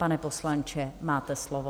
Pane poslanče, máte slovo.